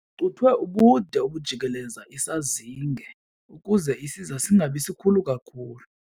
Kucuthwe ubude obujikeleza isazinge ukuze isiza singabi sikhulu kakhulu.